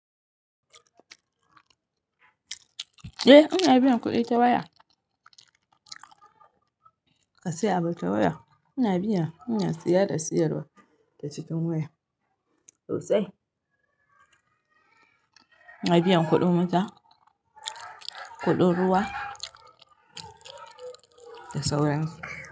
Eh ina binyan kuɗi ta waya. Ka saya abu ta waya? Ina biya ina saya da sayarwa ta cikin waya sosai, ina biyan kuɗin wuta, kuɗin ruwa, da sauransu.